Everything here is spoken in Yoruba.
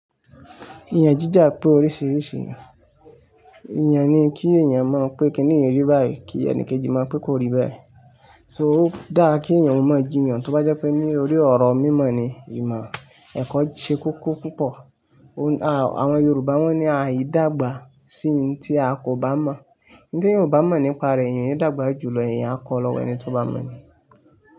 Ìyàn jíjà pé oríṣiríṣi ìyàn ni kí èèyàn mọ pé kí nìyi rí báyìí, kí ẹni kejì mọ pé kó rí bẹ́ẹ̀ So dáa kí èèyàn ó mọ jiyàn, tó bá jẹ́ pé ní orí ọ̀rọ̀ mímọ̀ ni ìmọ̀ ẹ̀kọ́ ṣe kọkọ púpọ̀. Àwọn Yorùbá wọ́n ní "àì dàgbà sí ohun tí a kò bá mọ̀". Ohun tí èèyàn ò bá mọ̀ nípa rẹ̀, èèyàn yóò dàgbà jù lọ. Èèyàn kọ́ lọ́wọ́ ẹni tó bá mọ̀ ni.